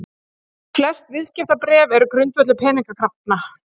Flest viðskiptabréf eru grundvöllur peningakrafna.